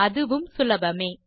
அதுவும் சுலபமே